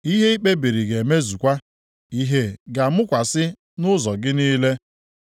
Ihe i kpebiri ga-emezukwa, ìhè ga-amụkwasị nʼụzọ gị niile.